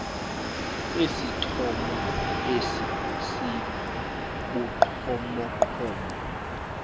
esithomo esi sibugqomogqomo